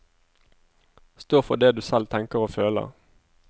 Stå for det du selv tenker og føler.